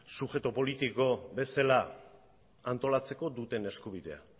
subjektu politiko bezala antolatzeko duten eskubidea